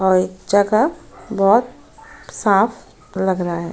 ओए जगह बोहोत साफ लग रहा है।